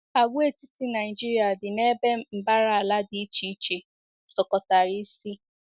Àgwàetiti Naịjirịa dị n’ebe mbara ala dị iche iche sọkọtara isi.